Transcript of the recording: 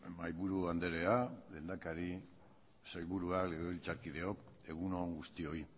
mahaiburu andrea lehendakari sailburuak legebiltzarkideok egun on guztioi